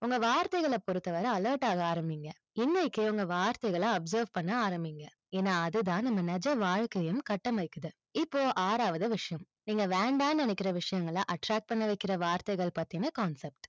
உங்க வார்த்தைகளை பொருத்தவர alert ஆக ஆரம்பிங்க. இன்னைக்கே உங்க வார்த்தைகள observe பண்ண ஆரம்பிங்க. ஏன்னா, அதுதான் நம்ம நிஜ வாழ்க்கையும் கட்டமைக்கிது. இப்போ ஆறாவது விஷயம். நீங்க வேண்டான்னு நினைக்கிற விஷயங்கள attract பண்ண வைக்கிற வார்த்தைகள் பத்தின concept